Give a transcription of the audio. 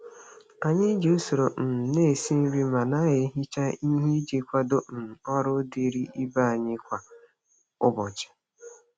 Anyị ji usoro um na-esi nri ma na-ehicha ihe iji kwado um ọrụ dịịrị ibe anyị kwa ụbọchị.